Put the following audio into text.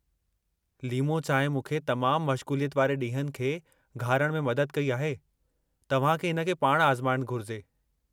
लीमो चांहि मूंखे तमामु मशगू़लियत वारे ॾींहनि खे घारणु में मदद कई आहे, तव्हां खे हिन खे पाणि आज़माइणु घुरिजे।